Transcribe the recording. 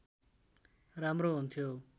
राम्रो हुन्थ्यो